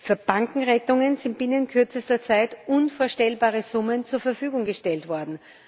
Für Bankenrettungen sind binnen kürzester Zeit unvorstellbare Summen zur Verfügung gestellt worden.